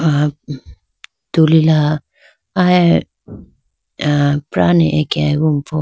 Ah tulila ah aye ah pra neh akeyampo.